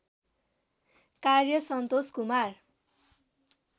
कार्य सन्तोष कुमार